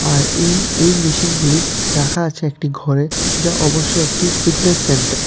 আর এই-এই মেশিনগুলি রাখা আছে একটি ঘরে যা অবশ্যই একটি ফিটনেস সেন্টার ।